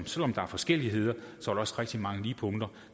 selv om der er forskelligheder også rigtig mange lighedspunkter